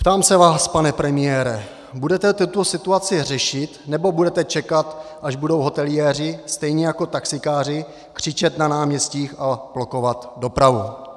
Ptám se vás, pane premiére, budete tuto situaci řešit, nebo bude čekat, až budou hoteliéři, stejně jako taxikáři, křičet na náměstích a blokovat dopravu?.